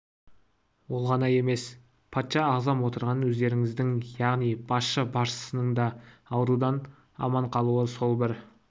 емес патша-ағзам отырған өздеріңіздің яғни басшы баршасының да аурудан аман қалуына сол бір